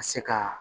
Ka se ka